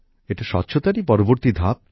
এটা স্বচ্ছতারই পরবর্তী ধাপ